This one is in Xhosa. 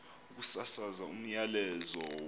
ukusasaza umyalezo wolwazi